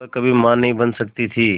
वह कभी मां नहीं बन सकती थी